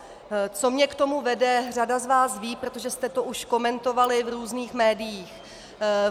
Co mě k tomu vede, řada z vás ví, protože jste to už komentovali v různých médiích.